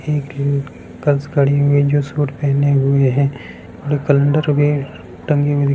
girls खड़ी हुईं है जो सूट पहने हुऐ हैं कलेंडर टंगे टंगे हुए दिख--